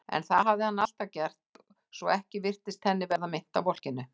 En það hafði hann alltaf gert, svo ekki virtist henni verða meint af volkinu.